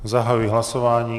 Zahajuji hlasování.